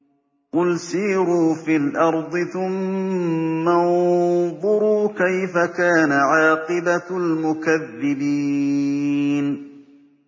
قُلْ سِيرُوا فِي الْأَرْضِ ثُمَّ انظُرُوا كَيْفَ كَانَ عَاقِبَةُ الْمُكَذِّبِينَ